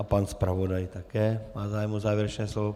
A pan zpravodaj také má zájem o závěrečné slovo.